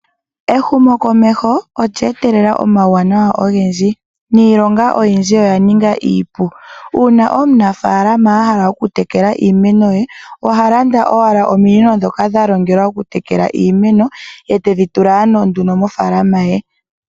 Ehumo komeho olya etelela omauwanawa ogendji niilonga oyindji oyaninga iipu, uuna omunafalama a hala okutekela iimeno ye oha landa owala ominino dhoka dhalongwa okutekela iimeno ndele tedhi tula owala mofalama ye.